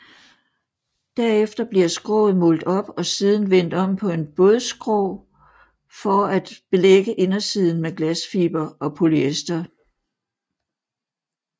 Derefter bliver skroget målt op og siden vendt om på en bådskrå for at belægge indersiden med glasfiber og polyester